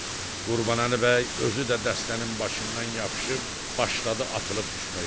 Qurbanəli bəy özü də dəstənin başından yapışıb başladı atılıb düşməyə.